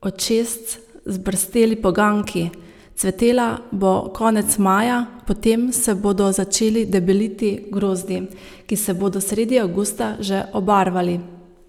očesc zbrsteli poganjki, cvetela bo konec maja, potem se bodo začeli debeliti grozdi, ki se bodo sredi avgusta že obarvali.